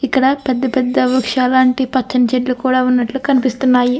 ఇక్కడ పెద్ద పెద్ద వృక్షలాంటివి పచ్చని చెట్లు కూడా ఉన్నట్లు కూడా కనిపిస్తుంది.